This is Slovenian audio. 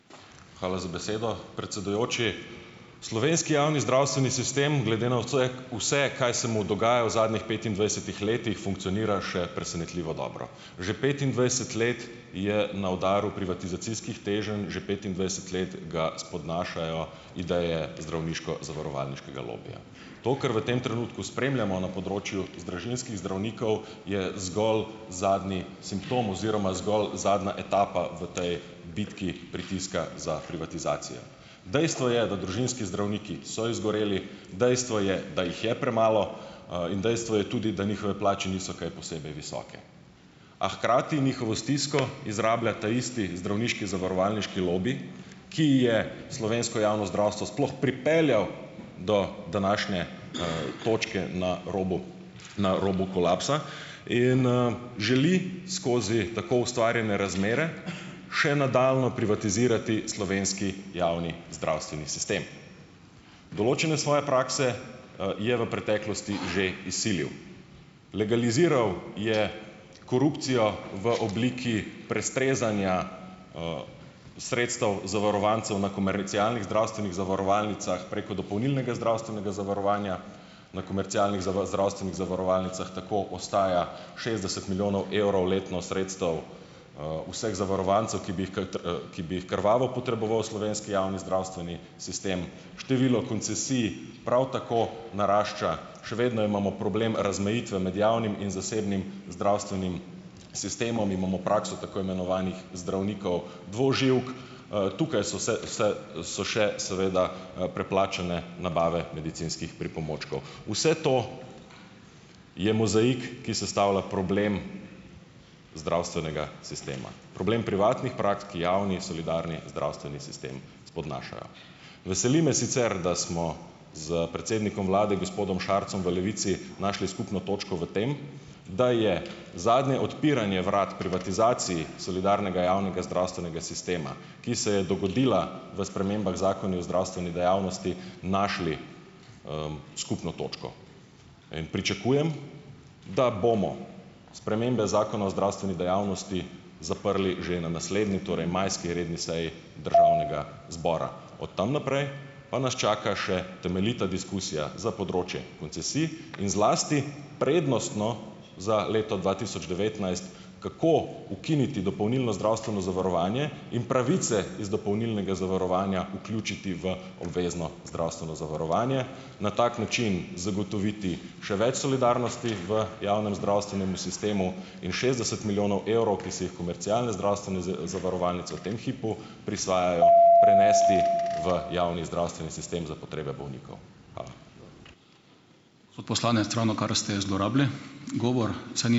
Hvala za besedo, predsedujoči. Slovenski javni zdravstveni sistem glede na vse, kaj se mu dogaja v zadnjih petindvajsetih letih funkcionira še presenetljivo dobro. Že petindvajset let je na udaru privatizacijskih teženj, že petindvajset let ga spodnašajo ideje zdravniško-zavarovalniškega lobija. To, kar v tem trenutku spremljamo na področju družinskih zdravnikov, je zgolj zadnji simptom oziroma zgolj zadnja etapa v tej bitki pritiska za privatizacijo. Dejstvo je, da družinski zdravniki so izgoreli. Dejstvo je, da jih je premalo. in dejstvo je tudi, da njihove plače niso kaj posebej visoke, a hkrati njihovo stisko izrablja ta isti zdravniški zavarovalniški lobi, ki je slovensko javno zdravstvo sploh pripeljal do današnje, točke na robu na robu kolapsa in želi skozi tako ustvarjene razmere še nadaljnje privatizirati slovenski javni zdravstveni sistem. Določene svoje prakse, je v preteklosti že izsilil. Legaliziral je korupcijo v obliki prestrezanja, sredstev zavarovancev na komercialnih zdravstvenih zavarovalnicah preko dopolnilnega zdravstvenega zavarovanja, na komercialnih zdravstvenih zavarovalnicah tako ostaja šestdeset milijonov evrov letno sredstev, vseh zavarovancev, ki bi jih ki bi jih krvavo potreboval slovenski javni zdravstveni sistem, število koncesij prav tako narašča, še vedno imamo problem razmejitve med javnim in zasebnim zdravstvenim sistemom, imamo prakso tako imenovanih zdravnikov dvoživk. Tukaj so se vse so še seveda preplačane nabave medicinskih pripomočkov. Vse to je mozaik, ki sestavlja problem zdravstvenega sistema, problem privatnih praks, ki javni solidarni zdravstveni sistem spodnašajo. Veseli me sicer, da smo s predsednikom vlade, gospodom Šarcem v Levici našli skupno točko v tem, da je zadnje odpiranje vrat privatizaciji solidarnega javnega zdravstvenega sistema, ki se je dogodila v spremembah Zakona o zdravstveni dejavnosti, našli, skupno točko. In pričakujem, da bomo spremembe Zakona o zdravstveni dejavnosti zaprli že na naslednji, torej majski redni seji državnega zbora. Od tam naprej pa nas čaka še temeljita diskusija za področje koncesij in zlasti prednostno za leto dva tisoč devetnajst, kako ukiniti dopolnilno zdravstveno zavarovanje in pravice iz dopolnilnega zavarovanja vključiti v obvezno zdravstveno zavarovanje, na tak način zagotoviti še več solidarnosti v javnem zdravstvenemu sistemu in šestdeset milijonov evrov, ki si jih komercialne zdravstvene zavarovalnice v tem hipu prisvajajo, prenesti v javni zdravstveni sistem za potrebe bolnikov. Hvala. Poslanec, ravnokar ste zlorabili govor, saj ...